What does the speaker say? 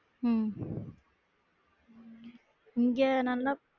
உம் இங்க நல்லா